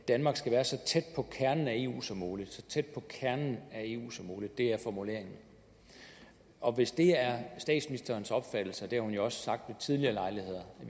danmark skal være så tæt på kernen af eu som muligt så tæt på kernen af eu som muligt det er formuleringen og hvis det er statsministerens opfattelse og det har hun jo også sagt ved tidligere lejligheder at